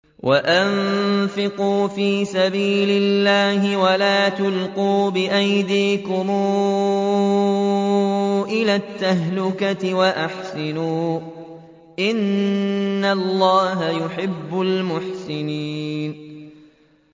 وَأَنفِقُوا فِي سَبِيلِ اللَّهِ وَلَا تُلْقُوا بِأَيْدِيكُمْ إِلَى التَّهْلُكَةِ ۛ وَأَحْسِنُوا ۛ إِنَّ اللَّهَ يُحِبُّ الْمُحْسِنِينَ